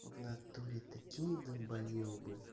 в натуре такие долбаёбы